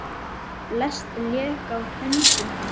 Flest lék í höndum hans.